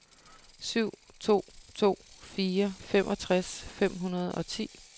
syv to to fire femogtres fem hundrede og ti